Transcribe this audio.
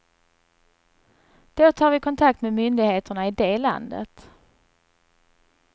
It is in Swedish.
Då tar vi kontakt med myndigheterna i det landet.